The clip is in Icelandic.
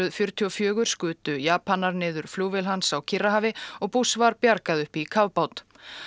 fjörutíu og fjögur skutu Japanar niður flugvél hans á Kyrrahafi og var bjargað upp í